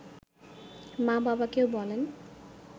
মা বাবাকেও বলেন